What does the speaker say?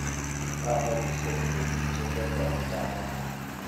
Ng'o nekisir ureryosyek kemboutap amut.